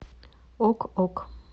ок ок